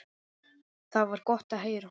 Það var gott að heyra.